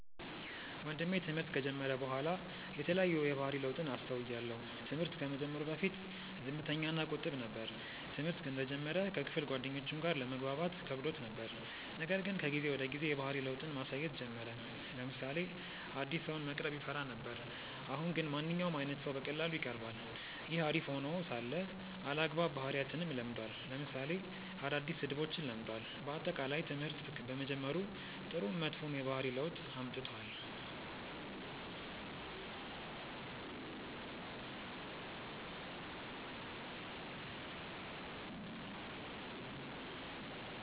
ወንድሜ ትምህርት ከጀመረ በኋላ የተለያዩ የባህሪ ለውጥን አስተውያለው። ትምህርት ከመጀመሩ በፊት ዝምተኛ እና ቁጥብ ነበር። ትምህርተ እንደጀመረ ከክፍል ጓደኞቹም ጋር ለመግባባት ከብዶት ነበር :ነገር ግን ከጊዜ ወደ ጊዜ የባህሪ ለውጥን ማሳየት ጀመረ : ለምሳሌ አዲስ ሰውን መቅረብ ይፈራ ነበር አሁን ግን ማንኛውም አይነት ሰው በቀላሉ ይቀርባል። ይህ አሪፍ ሄኖ ሳለ አልአግባብ ባህሪያትንም ለምዷል ለምሳሌ አዳዲስ ስድቦችን ለምዷል። በአጠቃላይ ትምህርት በመጀመሩ ጥሩም መጥፎም የባህሪ ለውጥ አምጥቷል።